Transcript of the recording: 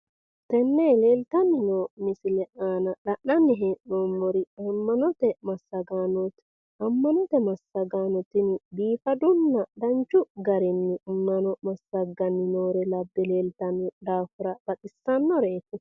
Tenne leeltanni no misile iima la'nanni hee'noommori amma'note massagaanoti, amma'note massagaano tini biifadu garinninna danchu garinni amma'no massagaani noore labbe leeltanno daafira baxissareeti.